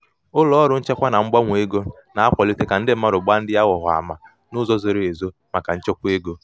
ụlọ ọrụ nchekwa na mgbanwe ego na-akwalite ka ndi mmadụ gbaa ndi aghụghọ ama n'uzo zoro ezo maka nchekwa ego.